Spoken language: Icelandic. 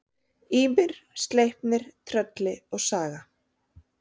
Ýmir, Sleipnir, Trölli og Saga.